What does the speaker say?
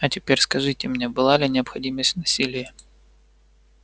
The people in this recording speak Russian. а теперь скажите мне была ли необходимость в насилии